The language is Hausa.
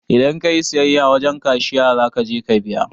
Idan kayi siyayya wajen cashiya zakaje ka biya